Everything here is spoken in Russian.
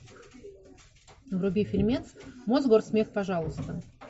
вруби фильмец мосгорсмех пожалуйста